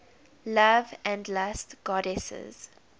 love and lust goddesses